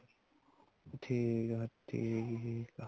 ਠੀਕ ਆ ਠੀਕ ਆ